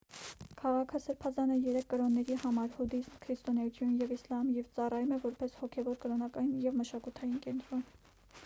քաղաքը սրբազան է երեք կրոնների համար հուդաիզմ քրիստոնեություն և իսլամ և ծառայում է որպես հոգևոր կրոնական և մշակութային կենտրոն